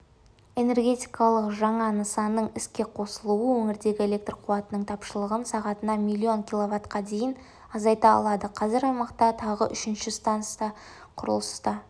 энергетикалық жаңа нысанның іске қосылуы өңірдегі электр қуатының тапшылығын сағатына миллион киловатқа дейін азайта алады қазір аймақта тағы үшінші станса құрылысы